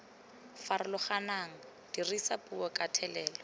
farologaneng dirisa puo ka thelelo